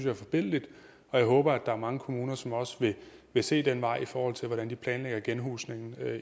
er forbilledligt og jeg håber at der er mange kommuner som også vil se den vej i forhold til hvordan de planlægger genhusningen